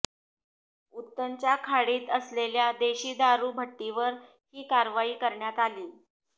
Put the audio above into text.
उत्तनच्या खाडीत असलेल्या देशी दारु भट्टीवर ही कारवाई करण्यात आलीय